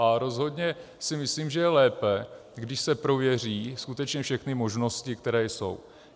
A rozhodně si myslím, že je lépe, když se prověří skutečně všechny možnosti, které jsou.